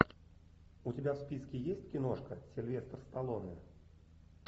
у тебя в списке есть киношка сильвестр сталлоне